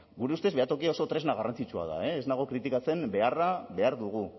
gure ustez behatokia oso tresna garrantzitsua da ez nago kritikatzen beharra behar dugu